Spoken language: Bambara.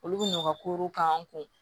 Olu bɛ n'u ka korow k'an kun